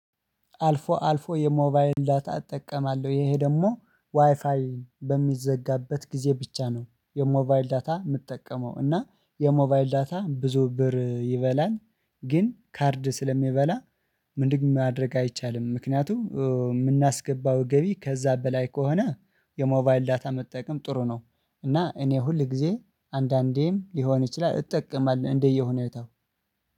አልፎ አልፎ የሞባይል ዳታ እጠቀማለሁ ይህ ደግሞ ዋይፋይ በሚዘጋበት ጊዜ ብቻ ነው የሞባይል ዳታ የምጠቀመው እና የሞባይል ዳታ ብዙ ብር ይበላል። ግን ካርድ ስለሚበላ ምንድነው ማድረግ አይቻልም ምክንያቱም የምናስገባው ገቢ ከዛ በላይ ከሆነ የሞባይል ዳታ መጠቀም ጥሩ ነው እና እኔ ሁል ጊዜ አንዳንዴም ሊሆን ይችላል እጠቀማለሁ እንደየሁኔታው።